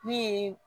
Min ye